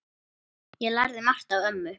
Ég lærði margt af ömmu.